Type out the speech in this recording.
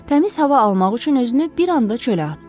Təmiz hava almaq üçün özünü bir anda çölə atdı.